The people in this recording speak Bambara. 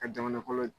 Ka jamana kɔnɔ